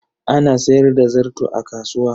Ana sayar da zarto a kasuwa.